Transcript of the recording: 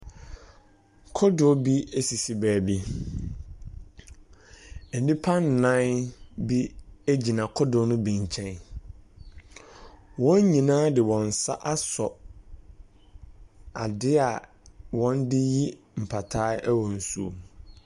Kodoɔ bi sisi baabi. Nnipa nnan bi gyina kodoɔ no bi nkyɛn. Wɔn nyinaa de wɔn nsa asɔ adeɛ a wɔde yi mpataa wɔ nsuom.